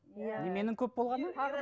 неменің көп болғаны